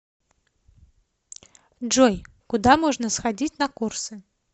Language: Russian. джой куда можно сходить на курсы